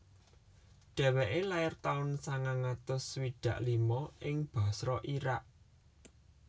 Dheweke lair taun sangang atus swidak lima ing Basra Irak